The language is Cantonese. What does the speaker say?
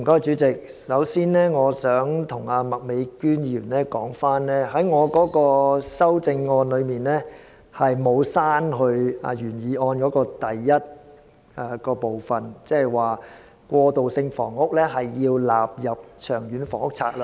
主席，我想先向麥美娟議員澄清，我的修正案並沒有刪除原議案第一點中"將過渡性房屋納入《長遠房屋策略》"的措辭。